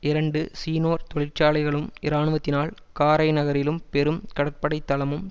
இரண்டு சீநோர் தொழிற்சாலைகளும் இராணுவத்தினால் காரைநகரிலும் பெரும் கடற்படை தளம்